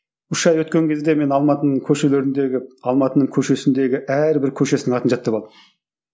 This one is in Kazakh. үш ай өткен кезде мен алматының көшелеріндегі алматының көшесіндегі әрбір көшесінің атын жаттап алдым